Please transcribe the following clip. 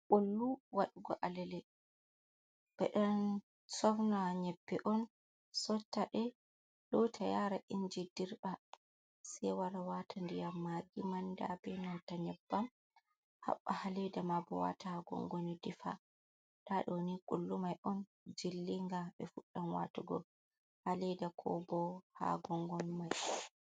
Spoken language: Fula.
Kullu waɗugo alale ɓeɗo sofna nyebbe on sottaɗe lota yara inji dirɓa se wara wata ndiyam magi manda benanta nyebbam haɓba ha leda ma bo wata ha gongoni defa nda ɗoni kullu mai on jillinga ɓe fuɗɗam watugo haleda ko bo ha gongon mai.